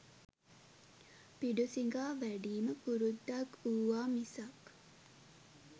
පිඬු සිඟා වැඩීම පුරුද්දක් වූවා මිසක්